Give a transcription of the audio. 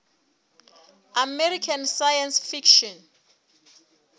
american science fiction